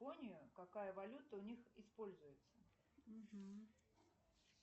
япония какая валюта у них используется